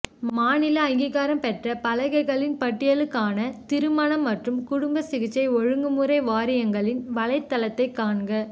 மாநில அங்கீகாரம் பெற்ற பலகைகளின் பட்டியலுக்கான திருமண மற்றும் குடும்ப சிகிச்சை ஒழுங்குமுறை வாரியங்களின் வலைத்தளத்தை காண்க